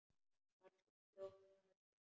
Bara svona fljót að öllu.